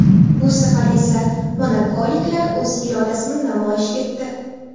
Bu safar esa monakoliklar o‘z irodasini namoyish etdi.